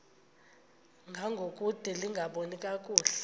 ngangokude lingaboni kakuhle